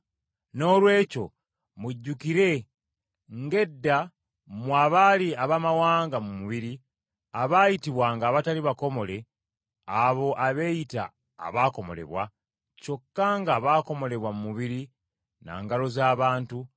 Noolwekyo mujjukire, ng’edda mmwe abaali Abaamawanga mu mubiri, abaayitibwanga abatali bakomole abo abeeyita abaakomolebwa, kyokka nga baakomolebwa mu mubiri na ngalo z’abantu,